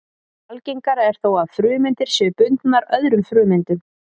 Algengara er þó að frumeindir séu bundnar öðrum frumeindum.